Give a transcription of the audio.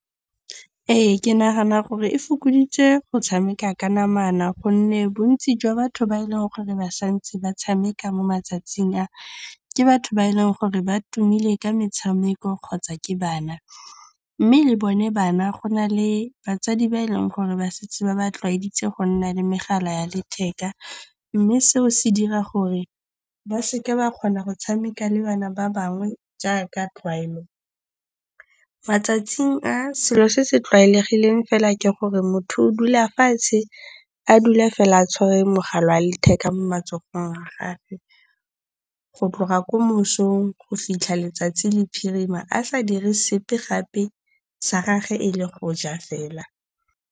Ee, ke nagana gore e fokoditse go tshameka ka namana gonne bontsi jwa batho ba e leng gore ba santse ba tshameka mo matsatsing a, ke batho ba e leng gore ba tumile ka metshameko kgotsa ke bana. Mme le bone bana, go na le batsadi ba e leng gore ba setse ba ba tlwaeditse go nna le megala ya letheka. Mme seo se dira gore ba seke ba kgona go tshameka le bana ba bangwe jaaka tlwaelo. Matsatsing a, selo se se tlwaelegileng fela ke gore motho o dula fatshe a dula fela a tshwere mogala wa letheka mo matsogong a gage. Go tloga ko mosong go fitlha letsatsi le phirima a sa dire sepe gape sa gage e le go ja fela.